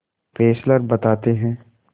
Fessler बताते हैं